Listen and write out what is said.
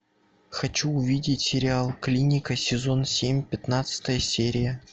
хочу увидеть сериал клиника сезон семь пятнадцатая серия